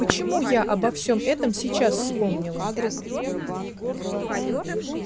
почему я обо всём этом сейчас вспомнила